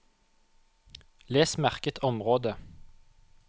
Les merket område